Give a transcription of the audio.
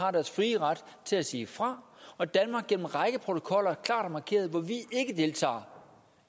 har deres frie ret til at sige fra og danmark har gennem en række protokoller klart markeret hvor vi ikke deltager